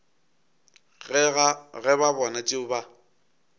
ge ba bona tšeo ba